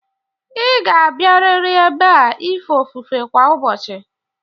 Ịga abịarịrị ebe a ife ofufe kwa ụbọchị!